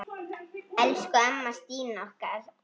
Elsku amma Stína okkar.